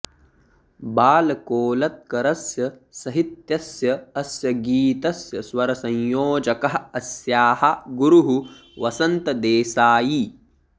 बालकोलत्करस्य सहित्यस्य अस्य गीतस्य स्वरसंयोजकः अस्याः गुरुः वसन्त देसायी